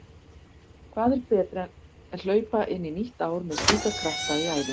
Hvað er betra en hlaupa inn í nýtt ár með slíka krafta í æðum?